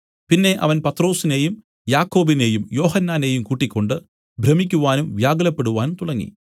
പിന്നെ അവൻ പത്രൊസിനെയും യാക്കോബിനെയും യോഹന്നാനെയും കൂട്ടിക്കൊണ്ട് ഭ്രമിക്കുവാനും വ്യാകുലപ്പെടുവാനും തുടങ്ങി